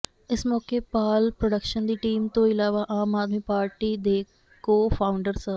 ਇਸ ਮੌਕੇ ਪਾਲ ਪ੍ਰੋਡਕਸ਼ਨ ਦੀ ਟੀਮ ਤੋਂ ਇਲਾਵਾ ਆਮ ਆਦਮੀ ਪਾਰਟੀ ਦੇ ਕੋ ਫਾਉਂਡਰ ਸ